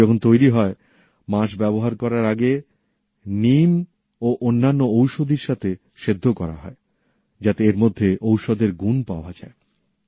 এগুলো যখন তৈরি হয় বাঁশ ব্যবহার করার আগে নিম ও অন্যান্য ঔষধীর সঙ্গে সেদ্ধ করা হয় যাতে এর মধ্যে ঔষধের গুন পাওয়া যায়